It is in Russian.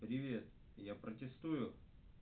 привет я протестую